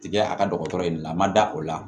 Tigɛ a ka dɔgɔtɔrɔ in de la a ma da o la